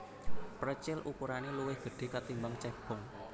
Precil ukurane luwih gedhe katimbang cebong